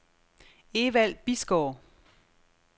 Evald Bisgaard